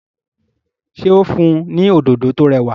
ṣe o n fun ní Òdòdó tó rẹwà?